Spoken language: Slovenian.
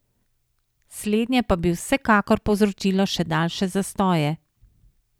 Slednje pa bi vsekakor povzročilo še daljše zastoje.